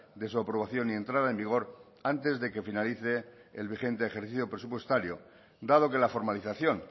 de su aprobación y entrada en vigor antes de que finalice el vigente ejercicio presupuestario dado que la formalización